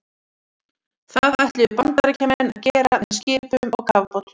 Það ætluðu Bandaríkjamenn að gera með skipum og kafbátum.